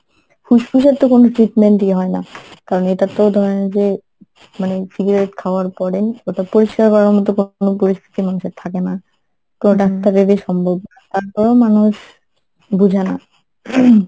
ফুসফুসের তো কোনো treatment ই হয় না কারণ এইটার তো ধরেন যে মানে cigarette খাওয়ার পরে ওটা পরিষ্কার করার মতো কোনো পরিস্থিতি মানুষের থাকে না কোনো ডাক্তার এর ই সম্ভব না তারপরো মানুষ বুঝে না। ing